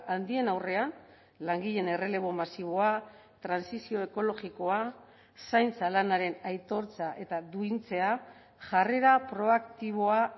handien aurrean langileen errelebo masiboa trantsizio ekologikoa zaintza lanaren aitortza eta duintzea jarrera proaktiboa